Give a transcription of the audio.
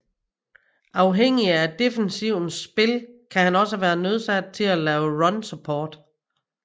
Afhængig af defensivens spil kan han også være nødsaget til at lave run support